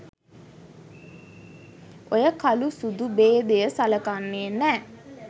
ඔය කළු සුදු බේදය සලකන්නේ නැ